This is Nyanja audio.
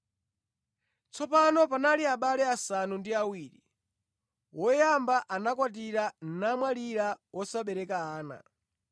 Tsopano panali abale asanu ndi awiri. Woyamba anakwatira namwalira wosabereka ana.